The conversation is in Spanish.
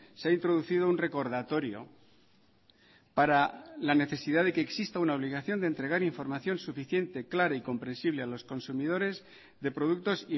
se ha introducido un recordatorio para la necesidad de que exista una obligación de entregar información suficiente clara y comprensible a los consumidores de productos